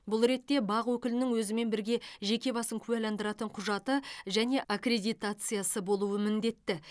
бұл ретте бақ өкілінің өзімен бірге жеке басын куәландыратын құжаты және аккредитациясы болуы міндетті